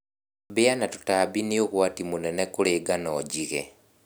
Mbĩa na tũtambi nĩũgwati mũnene kũrĩ ngano njige.